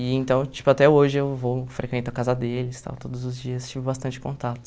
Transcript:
E então, tipo, até hoje eu vou frequento a casa deles tal, todos os dias tive bastante contato.